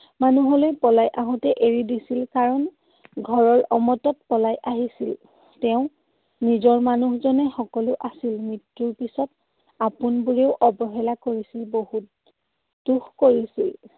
মানুহলৈ পলাই আহোঁতে এৰি দিছিল কাৰণ ঘৰৰ অমতত পলাই আহিছিল। তেওঁৰ নিজৰ মানু্হজনেই সকলো আছিল। মৃত্যুৰ পিছত আপোনবোৰেই অৱহেলা কৰিছিল। বহুত দুখ কৰিছিল।